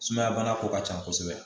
Sumaya bana ko ka ca kosɛbɛ